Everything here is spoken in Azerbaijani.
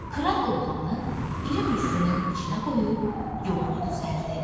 Kral oğlanı iri mücrünün içinə qoyub yoluna düzəldi.